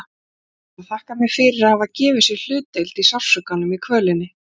Hann var að þakka mér fyrir að hafa gefið sér hlutdeild í sársaukanum, í kvölinni.